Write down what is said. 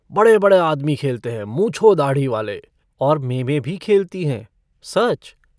बड़े-बड़े आदमी खेलते हैं मूंँछों-दाढ़ी-वाले, और मेमें भी खेलती हैं, सच।